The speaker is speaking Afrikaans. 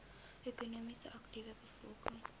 ekonomies aktiewe bevolking